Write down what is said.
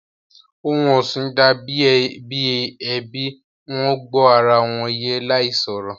Ohun ọ̀sìn dà bí ẹbí, Wọ́n gbó ara wọn yé láì sọ̀rọ̀